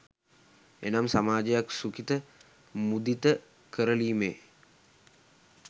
එනම් සමාජයක් සුඛිත මුදිත කරලීමේ